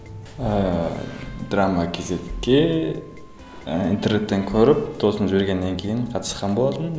ыыы драма кейзетке і интернеттен көріп досым жібергеннен кейін қатысқан болатынмын